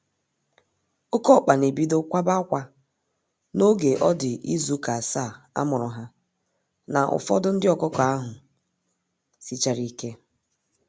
Oke ọkpa na ebido kwaba akwa n'oge ọdi ịzụ ụka asaa amuru ha na ụfọdụ ndị ọkụkọ ahụ sichárá ike.